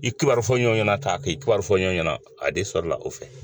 I kibaru fɔ ɲɔgɔn ɲɛna ta k'i kibaru fɔ ɲɔgɔn ɲɛna a de sɔrɔla o fɛ.